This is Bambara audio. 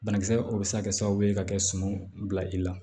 Banakisɛ o bɛ se ka kɛ sababu ye ka kɛ suman bila i la